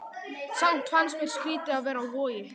Samt fannst mér skrýtið að vera á Vogi.